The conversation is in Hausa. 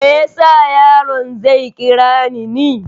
Meyasa yaron zai kirani ni?